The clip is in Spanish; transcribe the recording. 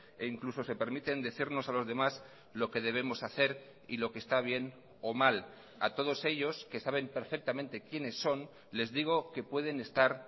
e incluso se permiten decirnos a los demás lo que debemos hacer y lo que está bien o mal a todos ellos que saben perfectamente quienes son les digo que pueden estar